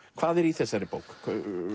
hvað er í þessari bók